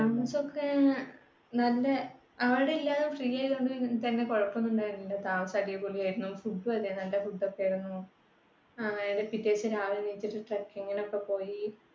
താമസം ഒക്കെ ആഹ് നല്ല അവിടെ എല്ലാം free ആയതുകൊണ്ട് തന്നെ കുഴപ്പം ഒന്നുമുണ്ടായിരുന്നില്ല. താമസം അടിപൊളിയായിരുന്നു. food ഉം അതെ. നല്ല food ഒക്കെയായിരുന്നു. ആഹ് പിറ്റേ ദിവസം രാവിലെ ണീച്ചിട്ട് trekking നൊക്കെ പോയി